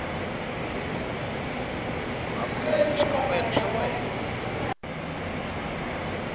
ku amukela xikombelo xa wena